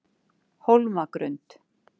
Hólmagrund